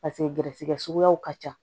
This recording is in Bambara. Paseke gɛrisigɛ suguyaw ka ca